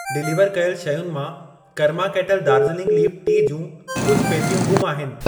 Deliver कयल शयुनि मां Karma Kettle Darjeeling leaf tea जूं कुझि पेतियूं ग़ुम आहिनि।